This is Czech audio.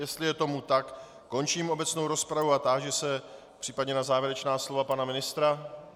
Jestli je tomu tak, končím obecnou rozpravu a táži se případně na závěrečná slova pana ministra.